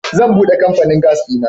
Zan bude kamfanin gas dina.